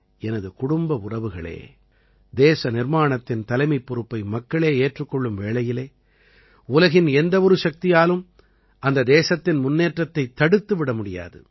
எனது குடும்ப உறவுகளே தேச நிர்மாணத்தின் தலைமைப் பொறுப்பை மக்களே ஏற்றுக் கொள்ளும் வேளையிலே உலகின் எந்த ஒரு சக்தியாலும் அந்த தேசத்தின் முன்னேற்றத்தைத் தடுத்து விட முடியாது